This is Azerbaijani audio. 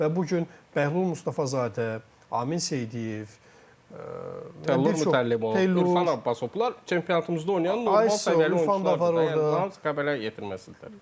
Və bu gün Bəhlul Mustafazadə, Amin Seydiyev, Tərlan Əhmədli, Ürfan Abbasov, bunlar çempionatımızda oynayan normal səviyyəli oyunçulardır da, yəni bunlar Qəbələnin yetirməsidir.